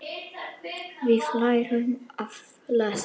Við lærum að lesa.